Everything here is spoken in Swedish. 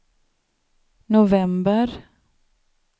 november